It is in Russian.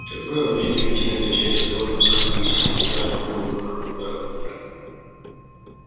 как правило политики начинают кричать о сэлдоновском кризисе при каждых новых выборах в мэры